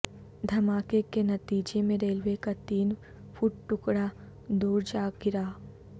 دھماکے کے نتیجے میں ریلوے کا تین فٹ ٹکڑا دور جا گرا